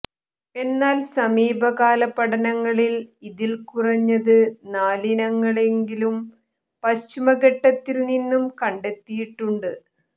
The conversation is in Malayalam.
എന്നാൽ സമീപകാലപഠനങ്ങളിൽ ഇതിൽ കുറഞ്ഞത് നാലിനങ്ങളെയെങ്കിലും പശ്ചിമഘട്ടത്തിൽ നിന്നും കണ്ടെത്തിയിട്ടുണ്ട്